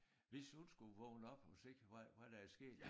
Hvis hun skulle vågne op og se hvad hvad der er sket